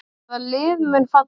Hvaða lið munu falla?